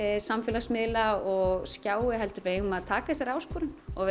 samfélagsmiðla og skjái heldur eigum við að taka þessari áskorun og